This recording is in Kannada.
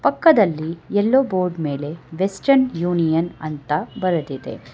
ಪಕ್ಕದಲ್ಲಿ ಯಲ್ಲೋ ಬೋರ್ಡ್ ಮೇಲೆ ವೆಸ್ಟೆರ್ನ್ ಯೂನಿಯನ್ ಅಂತ ಬರೆದಿದೆ.